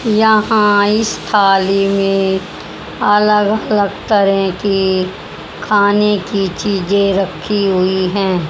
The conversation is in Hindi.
यहां इस थाली में अलग अलग तरह के खाने के चीजें रखी हुई है।